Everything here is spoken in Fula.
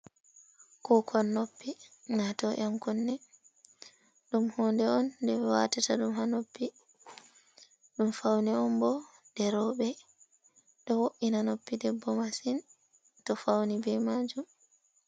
Kukon noppi wato yan kunne. Ɗum hunde on nde watata ɗum ha noppi. Ɗum faune on bo nde roɓe ɗo wo’ina noppi debbo masin to fauni be majum.